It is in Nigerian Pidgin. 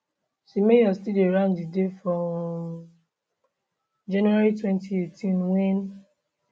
semenyo still dey rank di day for um january 2018 wen